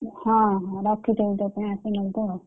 ହଁ ହଁ ରଖିଥିବି ତୋ ପାଇଁ ଆସିକି ନବୁ ଆଉ।